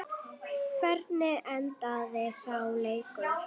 Hvernig endaði sá leikur?